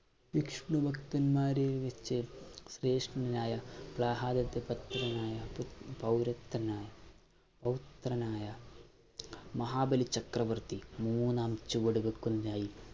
വിഷ്ണു ഭക്തന്മാരിൽ വച്ച് ശ്രേഷ്ഠനായ പ്രഹ്‌ളാദന്റെ പൗരത്വനായ, പൗത്രനായ മഹാബലി ചക്രവർത്തി മൂന്നാം ചുവട് വെക്കുന്നതിനായി